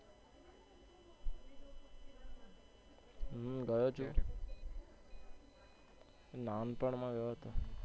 હું ગયો છુ નાનપણ માં ગયો હતો.